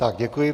Tak děkuji.